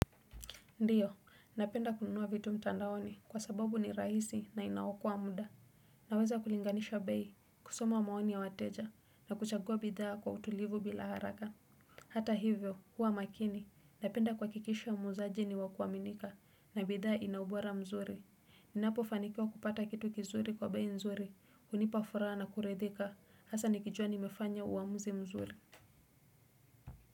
Ndiyo, napenda kununua vitu mtandaoni kwa sababu ni rahisi na inaokoa muda. Naweza kulinganisha bei, kusoma maoni ya wateja, na kuchagua bidhaa kwa utulivu bila haraka. Hata hivyo, kuwa makini, napenda kuhakikisha muuzaji ni wakuaminika, na bidhaa inaubora mzuri. Ninapo fanikiwa kupata kitu kizuri kwa bei nzuri, hunipa furaha na kuridhika, hasa nikijua nimefanya uamuzi mzuri.